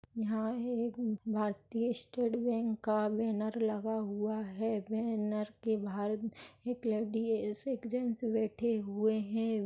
यहाँ एक भारतीय स्टेट बैंक का बैनर लगा हुआ है बैनर के बाहर एक लेडीज एक जेंट्स बैठे हुए है।